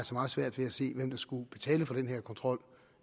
meget svært ved at se hvem der skulle betale for den her ekstra kontrol